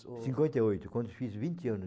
o, cinquenta e oito, quando eu fiz vinte anos